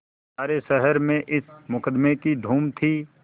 सारे शहर में इस मुकदमें की धूम थी